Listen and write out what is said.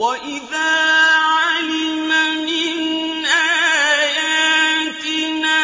وَإِذَا عَلِمَ مِنْ آيَاتِنَا